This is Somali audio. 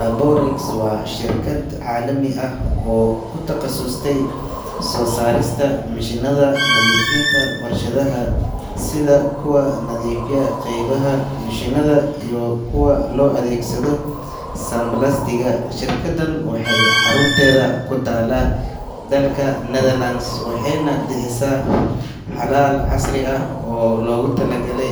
Laborex waa shirkad caalami ah oo ku takhasustay soo saarista mishiinada nadiifinta warshadaha sida kuwa nadiifiya qaybaha mishiinada iyo kuwa loo adeegsado sandblasting. Shirkaddan waxay xarunteedu ku taallaa dalka Netherlands, waxayna bixisaa xalal casri ah oo loogu talagalay